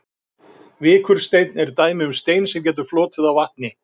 Vikursteinn er dæmi um stein sem getur flotið á vatni.